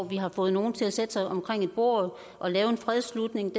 vi har fået nogle til at sætte sig omkring et bord og lave en fredsslutning